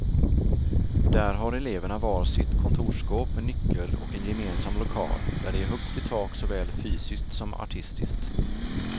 Där har eleverna var sitt kontorsskåp med nyckel och en gemensam lokal, där det är högt i tak såväl fysiskt som artistiskt.